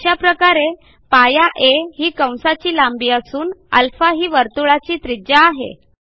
अशा प्रकारे π a ही कंसाची लांबी असून आ ही वर्तुळाची त्रिज्या आहे